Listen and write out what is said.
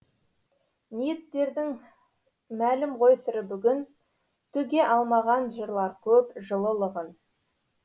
ниеттердің мәлім ғой сыры бүгін төге алмаған жырлар көп жылылығын